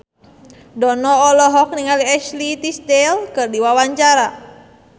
Dono olohok ningali Ashley Tisdale keur diwawancara